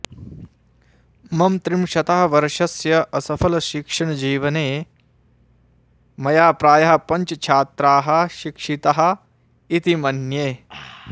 मम त्रिंशतः वर्षस्य असफलशिक्षणजीवने मया प्रायः पञ्च छात्राः शिक्षिताः इति मन्ये